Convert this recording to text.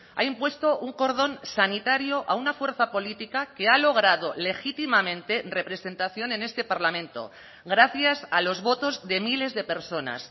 ha impuesto un cordón sanitario a una fuerza política que ha logrado legítimamente representación en este parlamento gracias a los votos de miles de personas